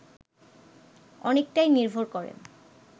অনেকটাই নির্ভর করে